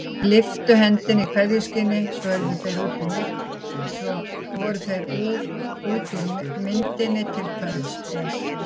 Lyftu hendi í kveðjuskyni, svo voru þeir út úr myndinni til kvölds, bless.